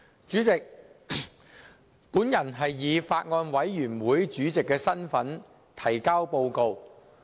主席，我以法案委員會主席的身份提交報告。